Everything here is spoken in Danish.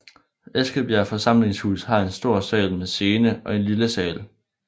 Eskebjerg Forsamlingshus har en stor sal med scene og en lille sal